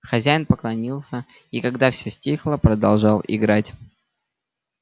хозяин поклонился и когда все стихло продолжал играть